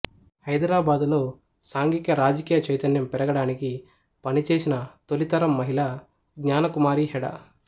హైదరాబాదులో సాంఘిక రాజకీయ చైతన్యం పెరగడానికి పనిచేసిన తొలితరం మహిళ జ్ఞానకుమారి హెడా